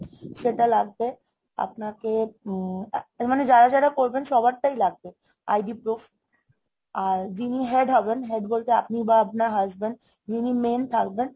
সেটা লাগবে, আপনাকে উম মানে যারা যারা করবেন সবারটাই লাগবে। ID proof আর আর যিনি head হবেন head বলতে আপনি বা আপনার husband যিনি main থাকবেন